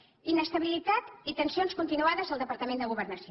inestabilitat i tensions continuades al departament de governació